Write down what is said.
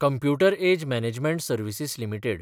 computer age management services limited